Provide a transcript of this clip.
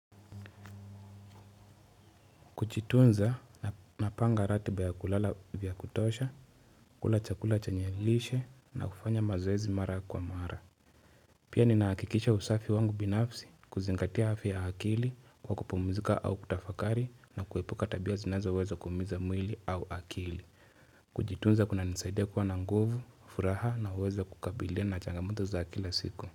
Kujitunza napanga ratiba ya kulala vya kutosha, kula chakula chanye lishe na kufanya mazoezi mara kwa mara Pia ninaakikisha usafi wangu binafsi kuzingatia afya akili kwa kupumizika au kutafakari na kuepuka tabia zinazo weza kumiza mwili au akili Kujitunza kunanisaidia kwa na nguvu, furaha na uweza kukabilia na changamoto za kila siku.